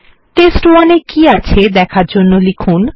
টেস্ট1 এ কি আছে দেখার আমরা লিখুন